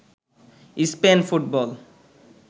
Spain football